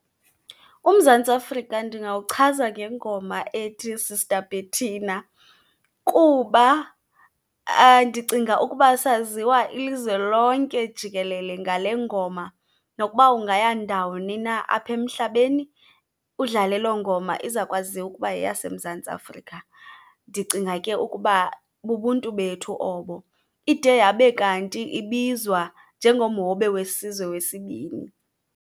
UMzantsi Afrika ndingawuchaza ngengoma ethi Sister Bertina kuba ndicinga ukuba saziwa ilizwe lonke jikelele ngale ngoma. Nokuba ungaya ndawoni na aphemhlabeni udlale loo ngoma, izakwaziwa ukuba yeyaseMzantsi Afrika. Ndicinga ke ukuba bubuntu bethu obo. Ide yabe kanti ibizwa njengomhobe wesizwe wesibini.